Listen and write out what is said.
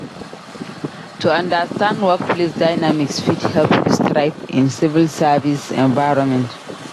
To understand workplace dynamics fit help you thrive in civil service environment.